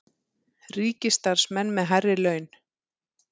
Ríkisstarfsmenn með hærri laun